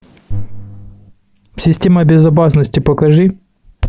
система безопасности покажи